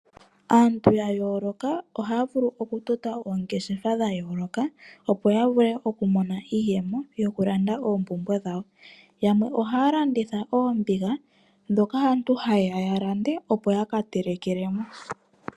Aantu yayoloka oha vulu oku tota oongeshefa dhayoloka opo ya vule oku mona iiyemo yoku landa oompumbwe dhawo. Yamwe ohaa landitha oombiga dhoka aantu haya ya lande opo yaka telekele mo.